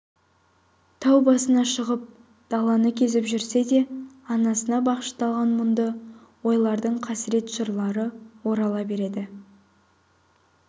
тау басына шығып даланы кезіп жүрсе де анасына бағышталған мұңды ойлардың қасірет жырлары орала береді